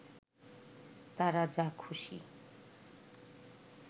তারা যা খুশি